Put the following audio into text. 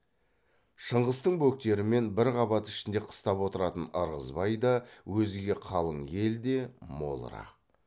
шыңғыстың бөктерімен бір қабат ішінде қыстап отыратын ырғызбай да өзге қалың ел де молырақ